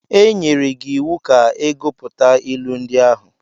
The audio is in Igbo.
E nyere gị iwu ka ị gụpụta ilu ndị ahụ.